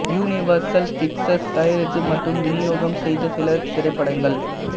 universal Pictures தயாரித்து மற்றும் விநியோகம் செய்த சில திரைப்படங்கள்